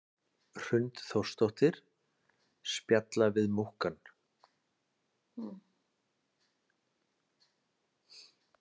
Hrund Þórsdóttir: Spjalla við múkkann?